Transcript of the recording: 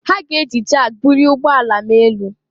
Ha ga-eji jak bulie ụgbọ ala m elu